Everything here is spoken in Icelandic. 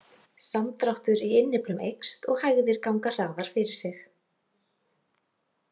Samdráttur í innyflum eykst og hægðir ganga hraðar fyrir sig.